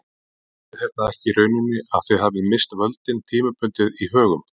Þýðir þetta ekki í rauninni að þið hafið misst völdin tímabundið í Högum?